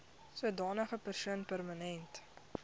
sodanige persoon permanent